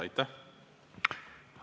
Aitäh!